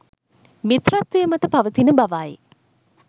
මිත්‍රත්වය මත පවතින බවයි.